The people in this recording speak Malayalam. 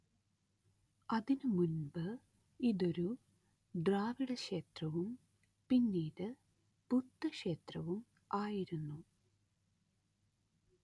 അതിനുമുൻപ് ഇതൊരു ദ്രാവിഡക്ഷേത്രവും പിന്നീട് ബുദ്ധക്ഷേത്രവും ആയിരുന്നു